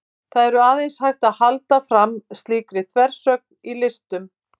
það er aðeins hægt að halda fram slíkri þversögn í listum